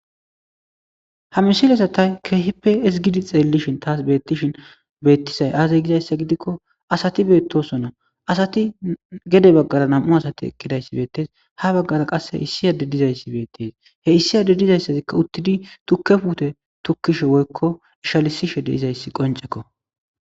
ha misilesa tay kehipe ezgidi xeellishin taas beettishin beettisay aazay gizayssa gidikko asati beettosona asati gede baggara nam7u asati eqqidayssi beettes ha baggara qas he issi ade dizayssi beettes he issi ade dizayssazikka uttidi tukke fute tukkishe woykko ishalisishe de izayssi qoncekko